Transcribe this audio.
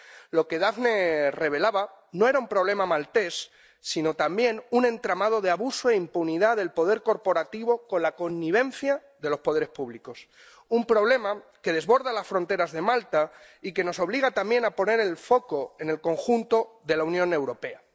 Lo que Daphne revelaba no era un problema maltés, sino también un entramado de abuso e impunidad del poder corporativo con la connivencia de los poderes públicos. Un problema que desborda las fronteras de Malta y que nos obliga también a poner el foco en el conjunto de la Unión Europea.